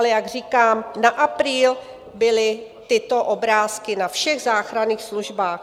Ale jak říkám, na apríl byly tyto obrázky na všech záchranných službách.